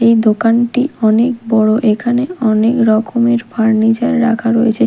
এই দোকানটি অনেক বড়ো এখানে অনেক রকমের ফার্নিচার রাখা রয়েছে।